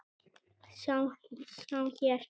sjá hér!